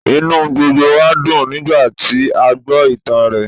Inú gbogbo wa dùn nígbàtí a gbó ìtàn rẹ̀